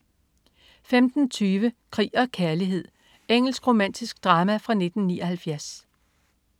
15.20 Krig og kærlighed. Engelsk romantisk drama fra 1979